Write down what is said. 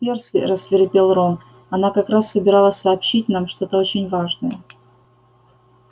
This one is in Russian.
перси рассвирепел рон она как раз собиралась сообщить нам что-то очень важное